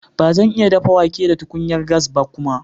Ba zan iya dafa wake da tukunyar gas ba kuma.